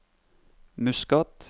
Muscat